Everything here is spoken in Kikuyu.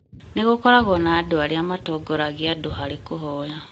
Nĩgũkoragwo na andũ arĩa matongoragia andũ harĩ kũhoya